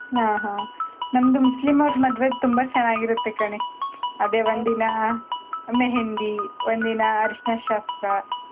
ಹ್ಮ್, ಹ್ಮ್. ನಮ್ದು ಮುಸ್ಲಿಂ ಅವ್ರ್ ಮದ್ವೆ ತುಂಬಾ ಚೆನ್ನಾಗ್ ಇರತ್ತೆ ಕಣೇ. ಅದೇ ಒಂದಿನ मेहँदी , ಒಂದಿನ ಅರಿಶಿನ ಶಾಸ್ತ್ರ.